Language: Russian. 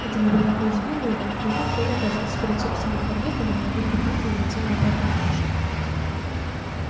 это неприятно удивило его но тут коля оказался перед собственным подъездом и на одном дыхании влетел на пятый этаж